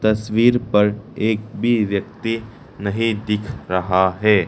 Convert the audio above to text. तस्वीर पर एक भी व्यक्ति नहीं दिख रहा है।